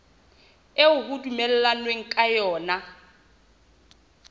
eo ho dumellanweng ka yona